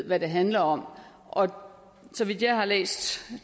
hvad det handler om og så vidt jeg har læst